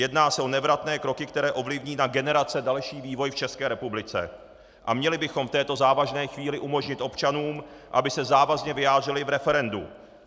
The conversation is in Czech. Jedná se o nevratné kroky, které ovlivní na generace další vývoj v České republice, a měli bychom v této závažné chvíli umožnit občanům, aby se závazně vyjádřili v referendu.